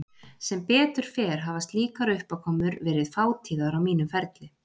Sem betur fer hafa slíkar uppákomur verið fátíðar á mínum ferli.